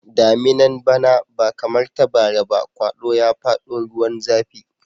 Daminan bana ba kamar ta bara ba, kwado ya fada ruwan zafi.